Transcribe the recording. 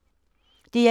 DR1